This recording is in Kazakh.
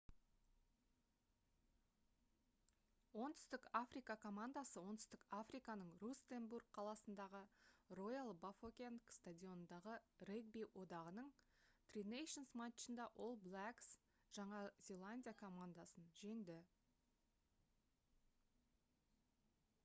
оңтүстік африка командасы оңтүстік африканың рустенбург қаласындағы роял бафокенг стадионындағы регби одағының tri nations матчында all blacks жаңа зеландия командасын жеңді